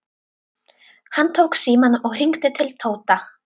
Hann tók símann og hringdi til Tóta.